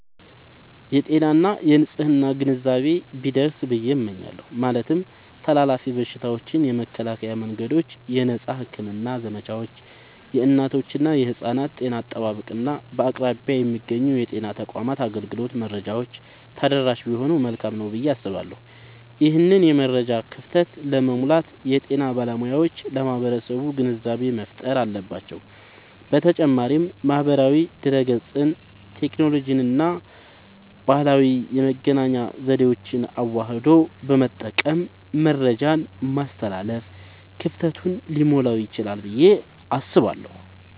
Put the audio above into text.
የጤና እና የንፅህና ግንዛቤ ቢደርስ ብየ እመኛለሁ። ማለትም ተላላፊ በሽታዎችን የመከላከያ መንገዶች፣ የነፃ ሕክምና ዘመቻዎች፣ የእናቶችና የሕፃናት ጤና አጠባበቅ፣ እና በአቅራቢያ የሚገኙ የጤና ተቋማት አገልግሎት መረጃዎች ተደራሽ ቢሆኑ መልካም ነዉ ብየ አስባለሁ። ይህንን የመረጃ ክፍተት ለመሙላት የጤና ባለሙያዎች ለማህበረሰቡ ግንዛቤ መፍጠር አለባቸዉ። በተጨማሪም ማህበራዊ ድህረገጽን፣ ቴክኖሎጂንና ባህላዊ የመገናኛ ዘዴዎችን አዋህዶ በመጠቀም መረጃን ማስተላለፍ ክፍተቱን ሊሞላዉ ይችላል ብየ አስባለሁ።